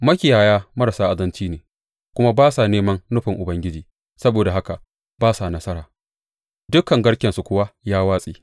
Makiyaya marasa azanci ne kuma ba sa neman nufin Ubangiji; saboda haka ba sa nasara dukan garkensu kuwa ya watse.